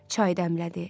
Çay dəmlədi.